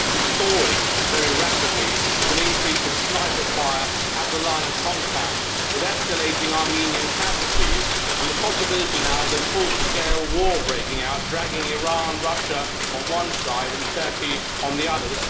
It is actually thawing very rapidly with an increase in sniper fire at the line of contact, escalating Armenian casualties and the possibility now of a full scale war breaking out, dragging in Iran and Russia on one side and Turkey on the other.